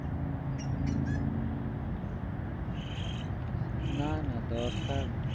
না না দরকার